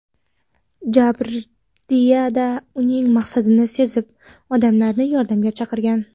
Jabrdiyda uning maqsadini sezib, odamlarni yordamga chaqirgan.